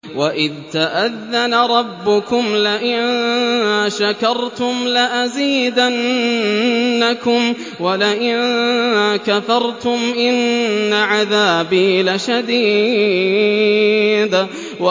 وَإِذْ تَأَذَّنَ رَبُّكُمْ لَئِن شَكَرْتُمْ لَأَزِيدَنَّكُمْ ۖ وَلَئِن كَفَرْتُمْ إِنَّ عَذَابِي لَشَدِيدٌ